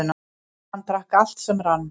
Hann drakk allt sem rann.